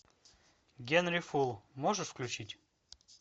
генри фул можешь включить